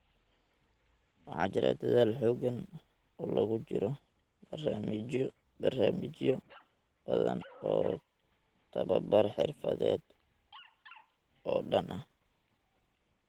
Waxaa jira dadaal xooggan oo loogu jiro barnaamijyo badan oo tababar xirfadeed oo oo dhan ah.